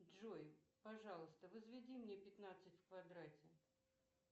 джой пожалуйста возведи мне пятнадцать в квадрате